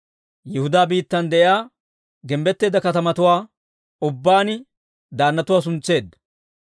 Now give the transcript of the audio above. Yihudaa biittan de'iyaa gimbbetteedda katamatuwaa ubbaan daannatuwaa suntseedda.